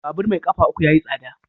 Babur mai kafa uku yayi tsada.